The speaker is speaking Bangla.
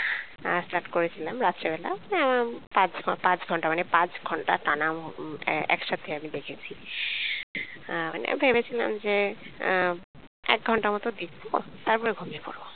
আহ start করেছিলাম রাত্রে বেলা উম পাঁচ পাঁচ ঘণ্টা মানে পাঁচ ঘণ্টা টানা একসাথে আমি দেখেছি আহ মানে ভেবেছিলাম যে আহ একঘণ্টার মতন দেখবো তারপর ঘুমিয়ে পরবো